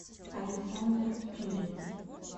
александр втюрин